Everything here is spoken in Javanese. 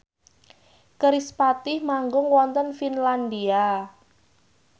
kerispatih manggung wonten Finlandia